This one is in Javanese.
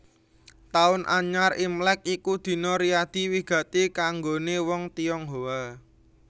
Taun Anyar Imlèk iku dina riyadi wigati kanggoné wong Tionghoa